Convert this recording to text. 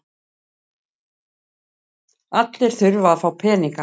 Allir þurfa að fá peninga.